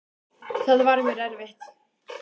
Það var mér erfitt.